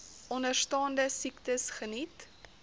onderstaande siektes geniet